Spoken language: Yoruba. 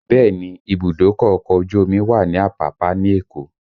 Bẹẹ ni, ìbùdókọ̀ ọkọ̀ ojú omi wà ní Apapa ní Èkó